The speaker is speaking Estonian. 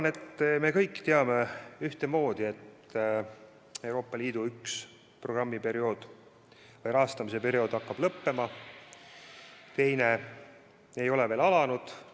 Küllap me kõik teame, et Euroopa Liidu üks rahastamisperiood hakkab lõppema, teine ei ole veel alanud.